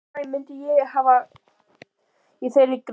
Og hvað ég myndi hafa í þeirri grein?